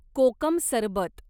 कोकम सरबत